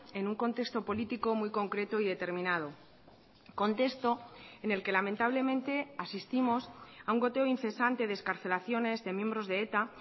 en un contexto político muy concreto y determinado contexto en el que lamentablemente asistimos a un goteo incesante de excarcelaciones de miembros de eta